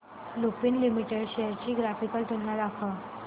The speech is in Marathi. लुपिन लिमिटेड शेअर्स ची ग्राफिकल तुलना दाखव